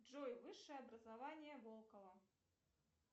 джой высшее образование волкова